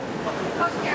Xoş gəlmisiniz.